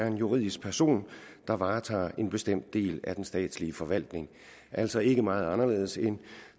en juridisk person der varetager en bestemt del af den statslige forvaltning altså ikke meget anderledes end